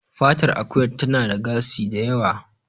Fatar Akuya tana da gasi da yawa